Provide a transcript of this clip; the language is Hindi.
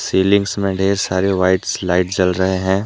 सीलिंग में ढेर सारे वाइटस लाइट जल रहे हैं।